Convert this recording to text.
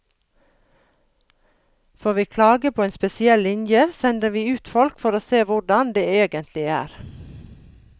Får vi klage på en spesiell linje, sender vi ut folk for å se hvordan det egentlig er.